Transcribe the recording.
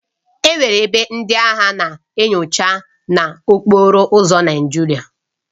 Enwere ebe ndị agha na-enyocha n'okporo ụzọ Naijiria